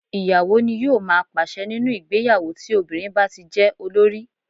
Ì̀yàwó ní yóò má pàṣe nínú ìgbéyàwó tí obìnrin bá tí jẹ́ olórí.